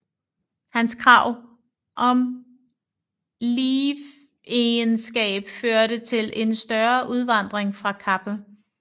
Hans krav om livegenskab førte til en større udvandring fra Kappel